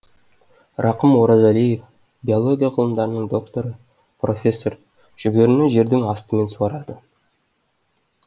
рақым оразалиев биология ғылымдарының докторы профессор жүгеріні жердің астымен суарады